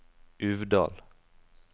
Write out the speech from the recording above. Uvdal